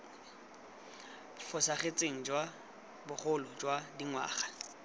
fosagetseng jwa bogolo jwa dingwaga